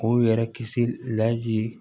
K'u yɛrɛ kisi